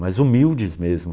Mas humildes mesmo.